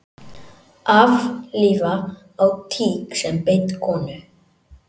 Aflífa á tík sem beit konu